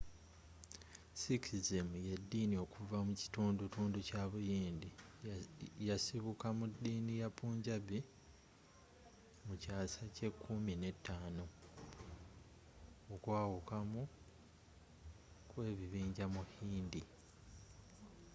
sikhism y’eddini okuva mu kitundutundu kya buyindi. yasibuka mu ddiini ya punjabi mu kyaasa kye kummi ne ttaano 15 okwawukanamu kwekibinja mu hindu